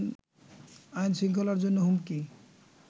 আইন শৃঙ্খলার জন্য হুমকি